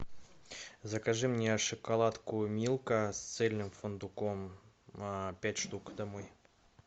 закажи мне шоколадку милка с цельным фундуком пять штук домой